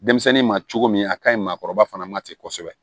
Denmisɛnnin ma cogo min a kaɲi maakɔrɔba fana ma ten kosɛbɛ